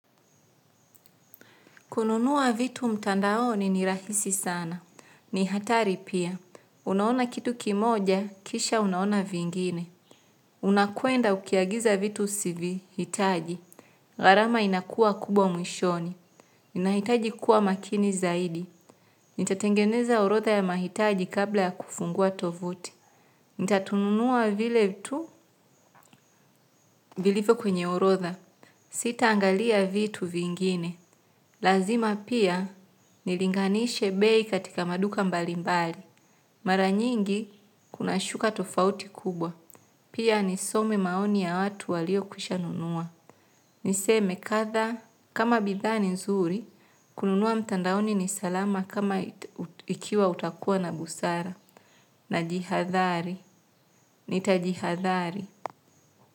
Kununua vitu mtandaoni ni rahisi sana. Ni hatari pia. Unaona kitu kimoja, kisha unaona vingine. Unakwenda ukiagiza vitu sivihitaji. Gharama inakua kubwa mwishoni. Ninahitaji kuwa makini zaidi. Nitatengeneza orodha ya mahitaji kabla ya kufungua tovuti. Nitatununua vile vitu vilivyo kwenye orodha. Sitaangalia vitu vingine. Lazima pia nilinganishe bei katika maduka mbalimbali. Maranyingi, kuna shuka tofauti kubwa. Pia nisome maoni ya watu walio kwishanunua. Niseme kadha kama bidhaa ni nzuri, kununua mtandaoni ni salama kama ikiwa utakuwa na busara. Najihadhari. Nitajihadhari.